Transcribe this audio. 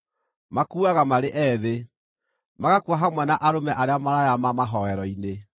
Makuuaga marĩ ethĩ, magakua hamwe na arũme arĩa maraya ma mahooero-inĩ.